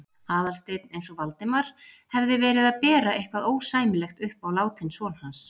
Aðalsteinn eins og Valdimar hefði verið að bera eitthvað ósæmilegt upp á látinn son hans.